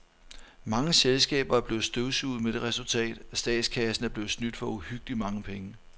Mange selskaber er blevet støvsuget med det resultat, at statskassen er blevet snydt for uhyggeligt mange penge.